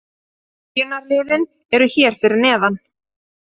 Byrjunarliðin eru hér fyrir neðan.